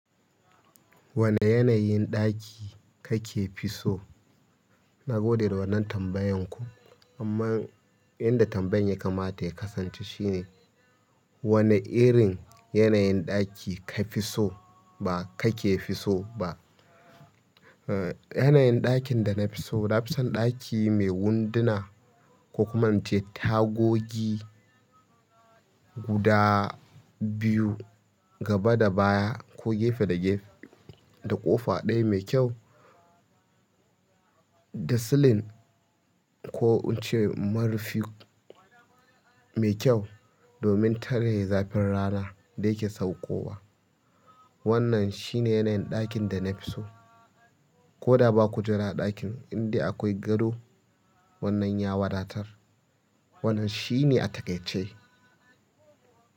Wane yanayin ɗaki ka ka fi so? Na gode da wannan tambayan ku, amma inda tambayan ya kamata ya kasance shine wane irin yana yin ɗaki ka fi so? Ba ka ke fi so ba? Eh, yana yin ɗakin da na fi so, na fi son ɗaki mai wunduna ko ku in ce tagogi guda biyu gaba da baya ko gefe da gefe da ƙofa ɗaya mai kyau da silin ko in ce marufi, mai kyau domin tare zafin rana da yake saukowa. Wannan shi ne yana yin ɗakin da na fi so. Ko da ba ku jira a ɗakin inda akwai gado, wannan ya wadatar. Wannan shi ne a takaice.